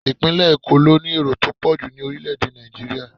Ipinle Eko ló ní èrò tó pọ̀jù ní orile-ede Naijiria.